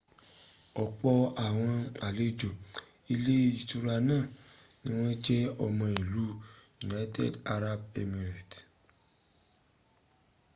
opo awon alejo ile itura naa ni won je omo ilu united arab emirate